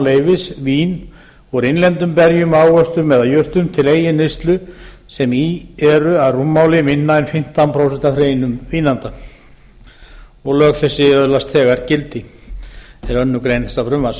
leyfis vín úr innlendum berjum ávöxtum eða jurtum til eigin neyslu sem í eru að rúmmáli minna en fimmtán prósent af hreinum vínanda lög þessi öðlast þegar gildi er önnur grein þessa frumvarps